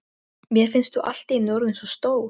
Mér finnst þú allt í einu orðin svo stór.